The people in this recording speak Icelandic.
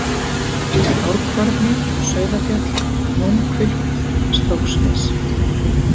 Árkvarni, Sauðafjall, Nónhvilft, Stráksnes